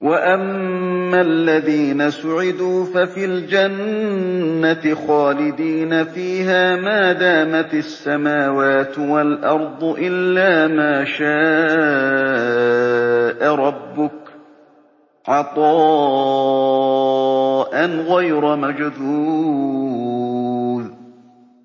۞ وَأَمَّا الَّذِينَ سُعِدُوا فَفِي الْجَنَّةِ خَالِدِينَ فِيهَا مَا دَامَتِ السَّمَاوَاتُ وَالْأَرْضُ إِلَّا مَا شَاءَ رَبُّكَ ۖ عَطَاءً غَيْرَ مَجْذُوذٍ